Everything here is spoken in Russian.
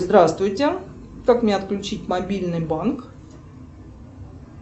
здравствуйте как мне отключить мобильный банк